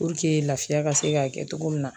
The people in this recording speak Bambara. lafiya ka se k'a kɛ cogo min na